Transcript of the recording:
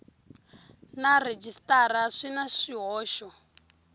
na rhejisitara swi na swihoxo